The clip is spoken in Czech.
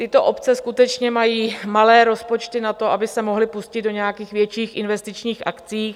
Tyto obce skutečně mají malé rozpočty na to, aby se mohly pustit do nějakých větších investičních akcí.